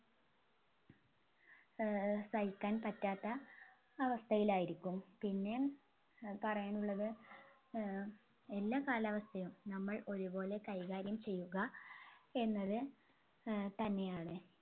ഏർ സഹിക്കാൻ പറ്റാത്ത അവസ്ഥയിലായിരിക്കും പിന്നെ ഏർ പറയാൻ ഉള്ളത് ഏർ എല്ലാ കാലാവസ്ഥയും നമ്മൾ ഒരുപോലെ കൈകാര്യം ചെയ്യുക എന്നത് ഏർ തന്നെയാണ്